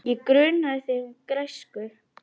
Ég gruna þig um græsku.